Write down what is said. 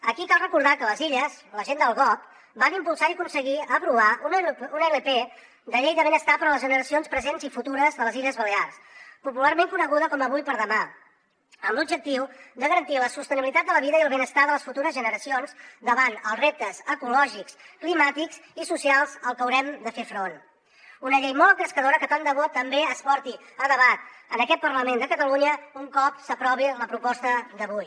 aquí cal recordar que a les illes la gent del gob van impulsar i aconseguir aprovar una ilp de llei de benestar per a les generacions presents i futures de les illes balears popularment coneguda com avui per demà amb l’objectiu de garantir la sostenibilitat de la vida i el benestar de les futures generacions davant els reptes ecològics climàtics i socials als que haurem de fer front una llei molt engrescadora que tant de bo també es porti a debat en aquest parlament de catalunya un cop s’aprovi la proposta d’avui